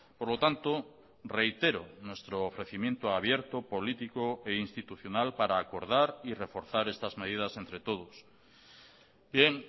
por lo tanto reitero nuestro ofrecimiento abierto político e institucional para acordar y reforzar estas medidas entre todos bien